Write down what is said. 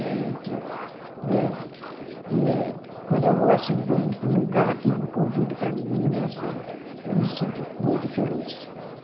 É a gente, né. E eh, quando eu vou para um para um lugar que me convida para meninas, eu me sinto muito feliz.